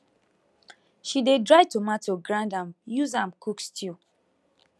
she dey dry tomato grind am use am cook stew